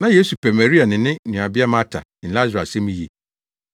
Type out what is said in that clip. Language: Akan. Na Yesu pɛ Maria ne ne nuabea Marta ne Lasaro asɛm yiye.